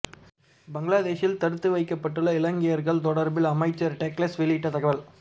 பங்களாதேஷில் தடுத்து வைக்கப்பட்டுள்ள இலங்கையர்கள் தொடர்பில் அமைச்சர் டக்ளஸ் வெளியிட்ட தகவல்